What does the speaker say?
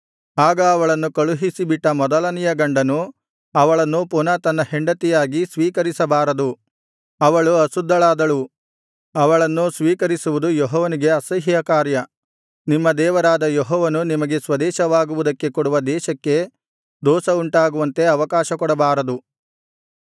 ಆಗ ಅವಳನ್ನು ಕಳುಹಿಸಿಬಿಟ್ಟ ಮೊದಲನೆಯ ಗಂಡನು ಅವಳನ್ನು ಪುನಃ ತನ್ನ ಹೆಂಡತಿಯಾಗಿ ಸ್ವೀಕರಿಸಬಾರದು ಅವಳು ಅಶುದ್ಧಳಾದಳು ಅವಳನ್ನು ಪುನಃ ಸ್ವೀಕರಿಸುವುದು ಯೆಹೋವನಿಗೆ ಅಸಹ್ಯ ಕಾರ್ಯ ನಿಮ್ಮ ದೇವರಾದ ಯೆಹೋವನು ನಿಮಗೆ ಸ್ವದೇಶವಾಗುವುದಕ್ಕೆ ಕೊಡುವ ದೇಶಕ್ಕೆ ದೋಷವುಂಟಾಗುವಂತೆ ಅವಕಾಶಕೊಡಬಾರದು